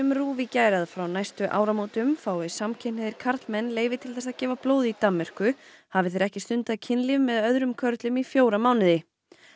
RÚV í gær að frá næstu áramótum fái samkynhneigðir karlmenn leyfi til þess að gefa blóð í Danmörku hafi þeir ekki stundað kynlíf með öðrum körlum í fjóra mánuði